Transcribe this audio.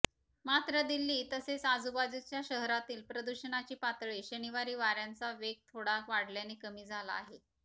मात्र दिल्ली तसेच आजूबाजूच्या शहरातील प्रदूषणाची पातळी शनिवारी वाऱ्यांचा वेग थोडा वाढल्याने कमी झाला आहे